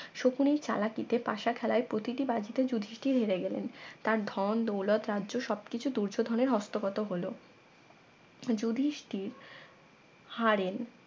শকুনি চালাকিতে পাসা খেলায় প্রতিটি বাজিতে যুধিষ্ঠির হেরে গেলেন তার ধন দৌলত রাজ্য সবকিছু দুর্যোধনের হস্তগত হলো যুধিষ্ঠির হারেন